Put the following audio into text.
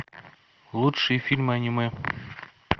лучшие фильмы аниме